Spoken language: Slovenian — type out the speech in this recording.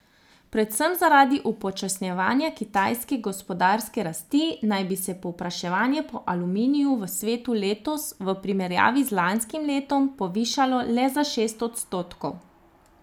Predvsem zaradi upočasnjevanja kitajske gospodarske rasti naj bi se povpraševanje po aluminiju v svetu letos v primerjavi z lanskim letom povišalo le za šest odstotkov.